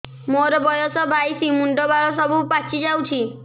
ମୋର ବୟସ ବାଇଶି ମୁଣ୍ଡ ବାଳ ସବୁ ପାଛି ଯାଉଛି